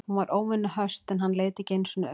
Hún var óvenju höst en hann leit ekki einu sinni upp.